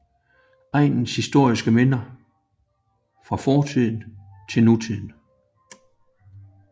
Egnens historiske minder fra fortid til nutid